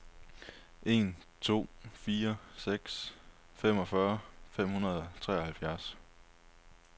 en to fire seks femogfyrre fem hundrede og treoghalvfjerds